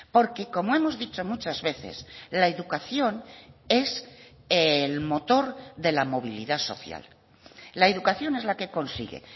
porque como hemos dicho muchas veces la educación es el motor de la movilidad social la educación es la que consigue